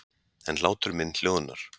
En hlátur minn hljóðnar.